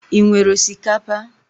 Ị nwere osikapa?